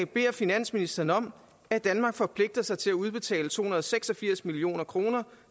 beder finansministeren om at danmark forpligter sig til at udbetale to hundrede og seks og firs million kroner